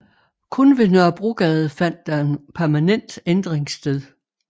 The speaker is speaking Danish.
Kun ved Nørrebrogade fandt der en permanent ændring sted